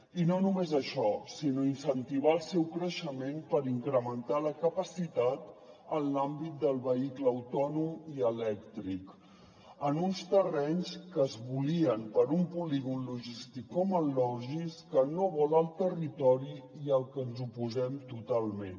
i no només això sinó incentivar el seu creixement per incrementar la capacitat en l’àmbit del vehicle autònom i elèctric en uns terrenys que es volien per a un polígon logístic com el logis que no vol el territori i al que ens oposem totalment